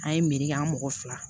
An ye miiri an mɔgɔ fila